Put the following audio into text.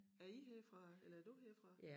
Er I herfra eller er du herfra?